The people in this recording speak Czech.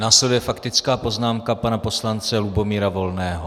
Následuje faktická poznámka pana poslance Lubomíra Volného.